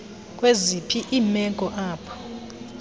kwaziphi iimeko apho